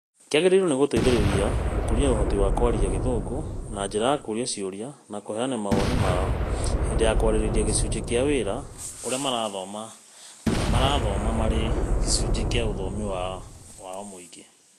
Kĩagĩrĩirwo nĩ gũteithĩrĩria arutwo gũkũria ũhoti wa kwaria Gĩthũngũ na njĩra ya kũũria ciũria na kũheana mawoni mao hĩndĩ ya kwarĩrĩria gĩcunjĩ kĩa wĩra ũrĩa marathoma kana marathoma marĩ gĩcunjĩ kĩa ũthomi wao mũingĩ.